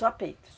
Só peito?